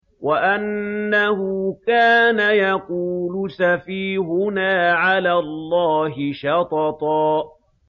وَأَنَّهُ كَانَ يَقُولُ سَفِيهُنَا عَلَى اللَّهِ شَطَطًا